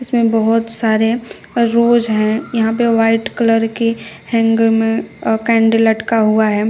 इसमें बहोत सारे रोज हैं। यहां पे व्हाइट कलर की हैंगर में अ कैंडल लटका हुआ है।